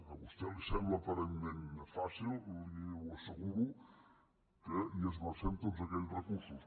a vostè li sembla aparentment fàcil li asseguro que hi esmercem tots aquells recursos